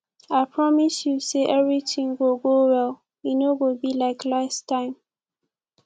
i promise you say everything go go well e no go be like last time